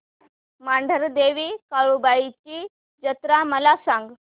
मांढरदेवी काळुबाई ची जत्रा मला सांग